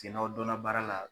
n'aw dɔnna baara la.